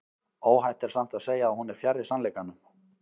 Óhætt er samt að segja að hún er fjarri sannleikanum.